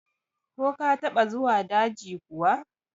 Ko ka taɓa zuwa daji kuwa?